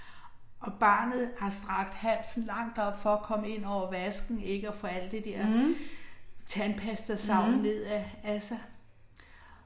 Og barnet har strakt halsen langt op for at komme ind over vasken ikke at få al det der tandpastasavl ned ad ad sig